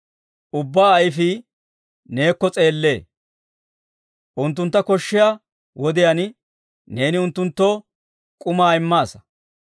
Ubbaa ayifii neekko s'eellee; unttuntta koshshiyaa wodiyaan neeni unttunttoo k'umaa immaasa.